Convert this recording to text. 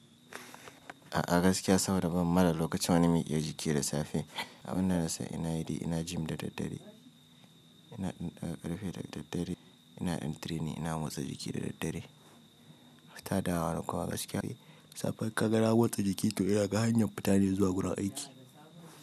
A'a gaskiya saboda ban ma da lokaci wani miƙe jiki da safe abinda nasan ina yi ina gym da daddare ina ɗaga ƙarfe da daddare ina yin training ina motsa jiki da daddare. Fita dawa na kuma gaskiya safe kaga na motsa jiki to ina ga hanyar fitane zuwa gurin aiki.